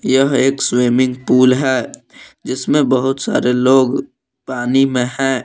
यह एक swimming pool है जिसमें बहुत सारे लोग पानी में हैं।